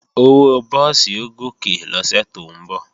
Owó búùsì ó gòkè lọ́sẹ̀ tó ń bọ̀